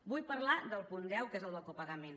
vull parlar del punt deu que és el del copagament